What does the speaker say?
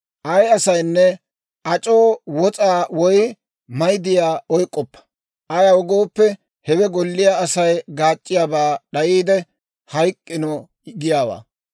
«Ay asaynne ac'oo wos'aa woy mayddiyaa oyk'k'oppa; ayaw gooppe, hewe golliyaa Asay gaac'c'iyaaba d'ayiide, hayk'k'ino giyaawaa.